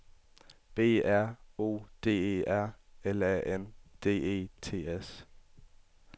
B R O D E R L A N D E T S